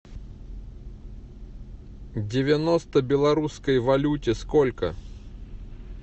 девяносто белорусской валюте сколько